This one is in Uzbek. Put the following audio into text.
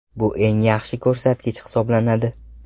Bu eng yaxshi ko‘rsatkich hisoblanadi.